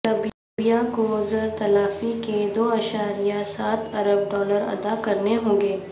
لبیا کو زر تلافی کے دو اعشاریہ سات ارب ڈالر ادا کنے ہوں گے